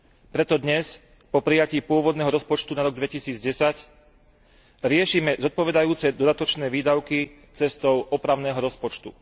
Preto dnes po prijatí pôvodného rozpočtu na rok 2010 riešime zodpovedajúce dodatočné výdavky cestou opravného rozpočtu.